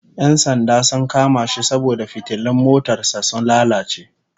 Yan sanda sun kama shi saboda fitilun motar sa sun lalace